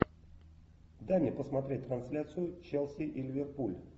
дай мне посмотреть трансляцию челси и ливерпуль